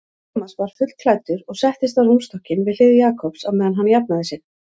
Thomas var fullklæddur og settist á rúmstokkinn við hlið Jakobs á meðan hann jafnaði sig.